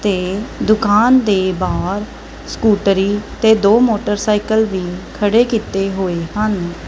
ਤੇ ਦੁਕਾਨ ਦੇ ਬਾਹਰ ਸਕੂਟਰੀ ਤੇ ਦੋ ਮੋਟਰਸਾਈਕਲ ਵੀ ਖੜੇ ਕੀਤੇ ਹੋਏ ਹਨ।